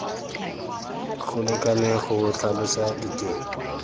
go lekaneng go tlhalosa diteng